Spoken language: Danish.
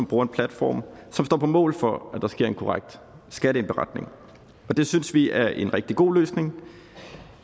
bruger en platform som står på mål for at der sker en korrekt skatteindberetning det synes vi er en rigtig god løsning